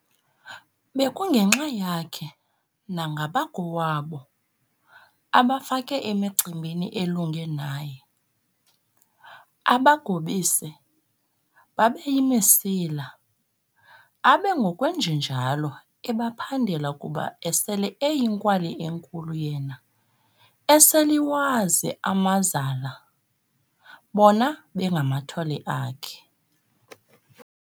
Bekungenxa yakhe nangabakowabo, abafake emicimbini elunge naye, abagobise, babeyimisila, abe ngokwenjenjalo ebaphandela kuba esele eyinkwali enkulu yena, esel'iwazi amazala, bona bengamathole akhe.